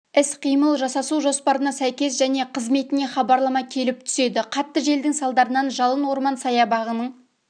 іс-қимыл жасасу жоспарына сәйкес және қызметіне хабарлама келіп түседі қатты желдің салдарынан жалын орман саябағының